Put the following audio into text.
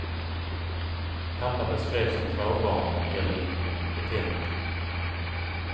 Pappa beskrevs som frånvarande eller inkompetent.